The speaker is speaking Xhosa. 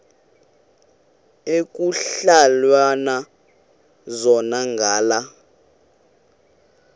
ekuhhalelwana zona ngala